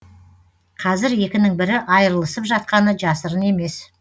қазір екінің бірі айырылысып жатқаны жасырын емес